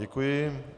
Děkuji.